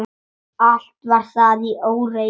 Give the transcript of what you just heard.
Allt var þar í óreiðu.